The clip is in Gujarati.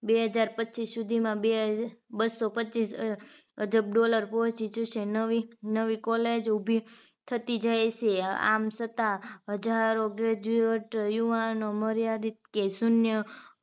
બે હજાર પચીસ સુધીમાં બે બસો પચીસ અજબ dollar પહોંચી જશે નવી નવી college ઉભી થતી જાય છે આમ છતાં હજારો graduate યુવાનો મર્યાદિત કે શૂન્ય